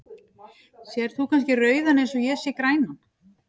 Sérð þú kannski rauðan eins og ég sé grænan?